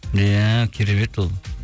иә керемет ол